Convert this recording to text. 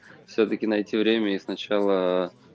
всё-таки найти время и сначала